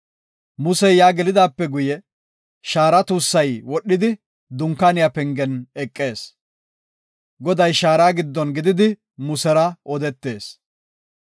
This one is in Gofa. Musey yaa gelidaape guye, shaara tuussay wodhidi Dunkaaniya pengen eqees. Goday shaara giddon gididi Musera odetees.